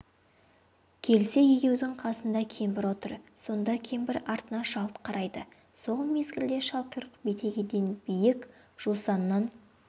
келсе егеудің қасында кемпір отыр сонда кемпір артына жалт қарайды сол мезгілде шалқұйрық бетегеден биік жусаннан